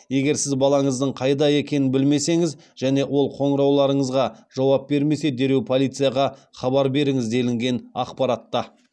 егер сіз балаңыздың қайда екенін білмесеңіз және ол қоңырауларыңызға жауап бермесе дереу полицияға хабар беріңіз делінген ақпаратта